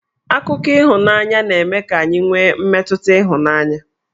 Akụkọ ịhụnanya na-eme ka anyị nwe mmetụta ịhụnanya